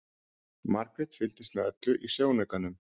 Margrét fylgdist með öllu í sjónaukanum.